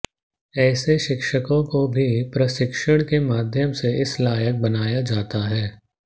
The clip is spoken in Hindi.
ऐसे शिक्षकों को भी प्रशिक्षण के माध्यम से इस लायक बनाया जाता है